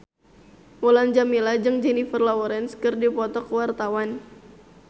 Mulan Jameela jeung Jennifer Lawrence keur dipoto ku wartawan